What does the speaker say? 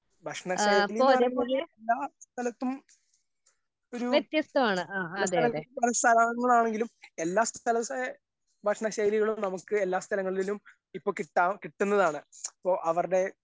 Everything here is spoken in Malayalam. ഭക്ഷണ ശൈലീന്ന് പറയുന്നത് എല്ലാ സ്ഥലത്തും ഒരു സ്ഥലങ്ങളാണെങ്കിലും എല്ലാ സ്ഥലത്തെ ഭക്ഷണ ശൈലികളും നമുക്ക് എല്ലാ സ്ഥലങ്ങളിലും ഇപ്പൊ കിട്ടാ കിട്ടുന്നതാണ് ഇപ്പൊ അവർടെ.